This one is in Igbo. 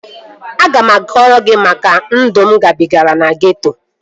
Aga m akọrọ gị maka ndụ mụ gabigara na geeto